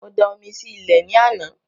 Mo da omi sí ilẹ̀ ní àná